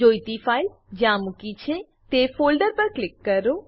જોઈતી ફાઈલ જ્યાં મૂકી છે તે ફોલ્ડર પર ક્લિક કરો